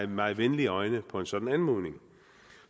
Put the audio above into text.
meget venlige øjne på en sådan anmodning